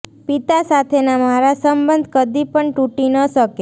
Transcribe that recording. પિતા સાથેના મારા સંબંધ કદી પણ તૂટી ન શકે